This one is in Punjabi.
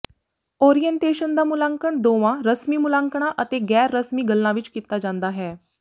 ਓਰੀਏਨਟੇਸ਼ਨ ਦਾ ਮੁਲਾਂਕਣ ਦੋਵਾਂ ਰਸਮੀ ਮੁਲਾਂਕਣਾਂ ਅਤੇ ਗੈਰ ਰਸਮੀ ਗੱਲਾਂ ਵਿੱਚ ਕੀਤਾ ਜਾਂਦਾ ਹੈ